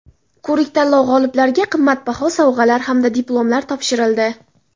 Ko‘rik tanlov-g‘oliblariga qimmatbaho sovg‘alar hamda diplomlar topshirildi.